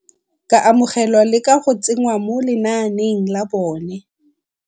ka amogelwa le go ka tsengwa mo lenaaneng la bone.